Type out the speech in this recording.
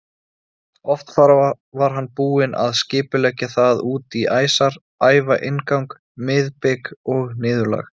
Oft var hann búinn að skipuleggja það út í æsar, æfa inngang, miðbik og niðurlag.